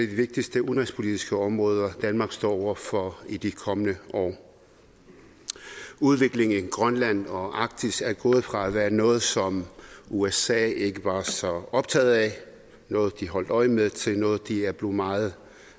de vigtigste udenrigspolitiske områder danmarks står over for i de kommende år udviklingen i grønland og arktis er gået fra at være noget som usa ikke var så optaget af noget de holdt øje med til noget de er blevet meget